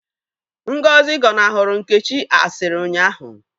Ngozi gọnahụrụ Nkechi asịrị ụnyahụ